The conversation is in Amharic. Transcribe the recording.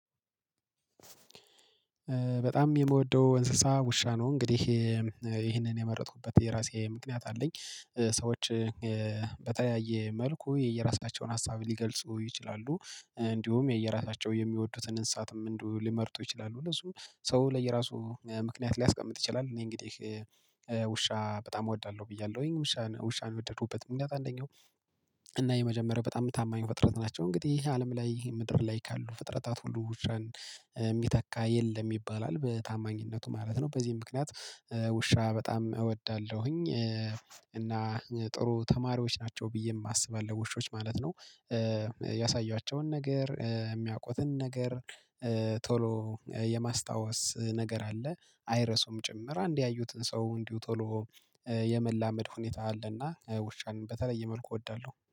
በጣም የምወደው እንስሳ ውሻ ነው። እንግዲህ ይሄንን የመረጥኩበት የራሴ ምክንያት አለኝ። ሰዎች በተያየ መልኩ የየራሳቸውን ሀሳብ ሊገልጹ ይችላሉ። እንዲሁም የየራሳቸው የሚወዱትን እንሳትም ሊመርጡ ይችላሉ። ለሱ ሰው ለየራሱ ምክንያት ሊያስቀምጥ ይችላል። እኔ እንግዲህ ውሻ በጣም እወዳለሁ ብያለሁኝ። ውሻን ውሻን የወደዱበት ምክንያት አንደኛው እና የመጀመሪያው በጣም ታማኝ ፍጥረት ናቸው። እንግዲህ አለም ላይ ምድር ላይ ካሉ ፍጥረታት ሁሉ ውሻን የሚተካ የለም ይባላል በታማኝነቱ ማለት ነው። በዚህም ምክንያት ውሻ በጣም እወዳለሁኝ። እና ጥሩ ተማሪዎች ናቸው ብዬም አስባለሁ ውሾች ማለት ነው። ያሳያቸውን ነገር የሚያውቁትን ነገር ቶሎ የማስታወስ ነገር አለ። አይረሱም ጭምር አንዴ ያዩትን ሰው እንዲሁ ቶሎ የመላመድ ሁኔታ አለና ውሻን በተለየ መልኩ እወዳለሁ።